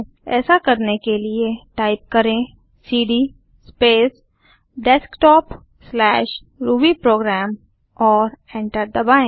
ऐसा करने के लिए टाइप करें सीडी स्पेस desktopरूबीप्रोग्राम और एंटर दबाएँ